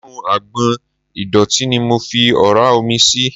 Inú agbọ̀n ìdọ̀tí ni mo fi ọ̀ra omi sí.